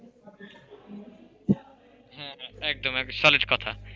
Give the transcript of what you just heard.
হ্যাঁ একদম solid কথা,